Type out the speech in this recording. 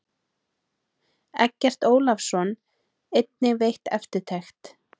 Eggert Ólafsson einnig veitt eftirtekt.